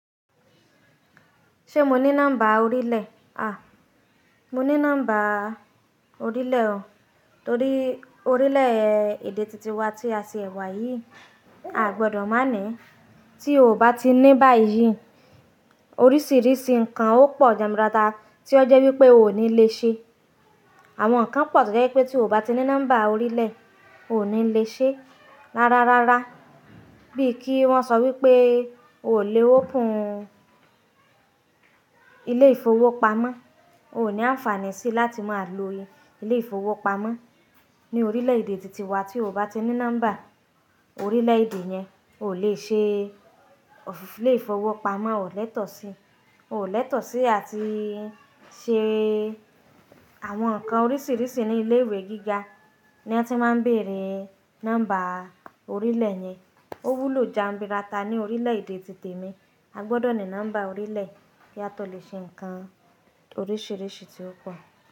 Ṣé mo ní nọ́mbà orílẹ̀? À, mo ní nọ́mbà orílẹ̀ o. Torí orílẹ̀-èdè titi wa tí a tìẹ̀ wà yìí, a gbọdọ̀ má ní. Tí o ò bá ti ní báyìí, oríṣiríṣi nǹkan ó pọ̀ jamburata tí ó jẹ́ wípé o ò ní le ṣe. Àwọn nǹkan pọ̀ tí ó jẹ́ wípé tí o ò bá ti ní nọ́mbà orílẹ̀, o ò ní le ṣe rárá rárá. Bí i kí wọ́n sọ wípé oò lè open ilé ìfowópamọ́, o ò ní àǹfààní sí láti máa lo ilé ìfowópamọ́ ní orílẹ̀-èdè titi wa tí o ò bá ti ní nọ́mbà orílẹ̀-èdè yẹn. O ò lè ṣe òfin ilé ìfowópamọ́, o ò lẹ́tọ̀ọ́ sí. O ò lẹ́tọ̀ọ́ sí àti ṣe àwọn nǹkan oríṣiríṣi ní ilé ìwé gíga ní wọ́n ti máa ń bèèrè nọ́mbà orílẹ̀ yẹn. Ó wúlò jamburata ní orílẹ̀-èdè ti temi. A gbọdọ̀ ní nọ́mbà orílẹ̀ kí a tó lè ṣe nǹkan oríṣiríṣi tí ó pọ̀